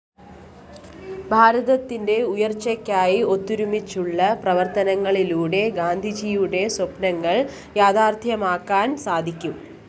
ഭാരതത്തിന്റെ ഉയര്‍ച്ചക്കായി ഒത്തൊരുമിച്ചുള്ള പ്രവര്‍ത്തനത്തിലൂടെ ഗാന്ധിജിയുടെ സ്വപ്‌നങ്ങള്‍ യാഥാര്‍ത്ഥ്യമാക്കാന്‍ സാധിക്കും